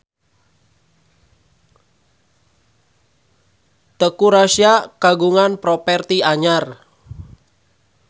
Teuku Rassya kagungan properti anyar